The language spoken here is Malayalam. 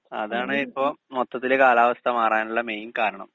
സ്പീക്കർ 2 അതാണ് ഇപ്പോ മൊത്തത്തില് കാലാവസ്ഥ മാറാനുള്ള മെയിൻ കാരണം